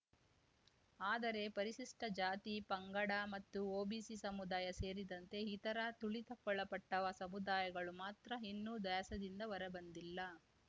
ಆದರೆ ಪರಿಶಿಷ್ಟಜಾತಿ ಪಂಗಡ ಮತ್ತು ಒಬಿಸಿ ಸಮುದಾಯ ಸೇರಿದಂತೆ ಇತರ ತುಳಿತಕ್ಕೊಳಪಟ್ಟಸಮುದಾಯಗಳು ಮಾತ್ರ ಇನ್ನೂ ದ್ಯಾಸದಿಂದ ಹೊರಬಂದಿಲ್ಲ